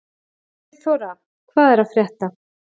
Friðþóra, hvað er að frétta?